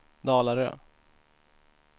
Dalarö